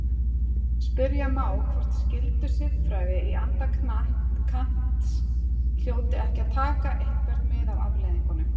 Spyrja má hvort skyldusiðfræði í anda Kants hljóti ekki að taka eitthvert mið af afleiðingum.